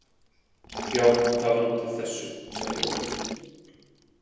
Já, það var út af þessu, sagði Ólöf.